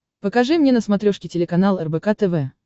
покажи мне на смотрешке телеканал рбк тв